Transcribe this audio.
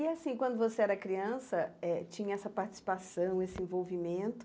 E assim, quando você era criança eh, tinha essa participação, esse envolvimento,